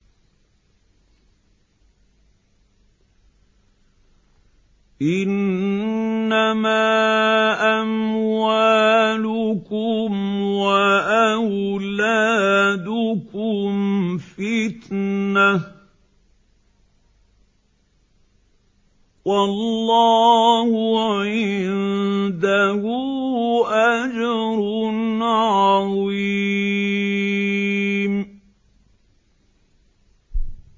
إِنَّمَا أَمْوَالُكُمْ وَأَوْلَادُكُمْ فِتْنَةٌ ۚ وَاللَّهُ عِندَهُ أَجْرٌ عَظِيمٌ